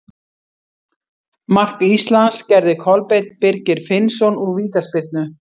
Mark Íslands gerði Kolbeinn Birgir Finnsson úr vítaspyrnu.